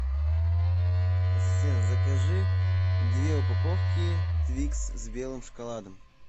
ассистент закажи две упаковки твикс с белым шоколадом